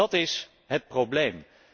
Dat is het probleem.